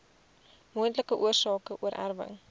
moontlike oorsake oorerwing